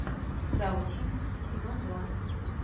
завучи сезон два